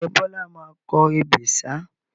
Ǹjẹ́ Bọlá máa kọ ebè ṣáá?